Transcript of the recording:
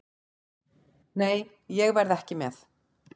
Nei, ég verð ekki með.